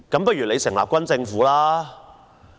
不如成立軍政府吧？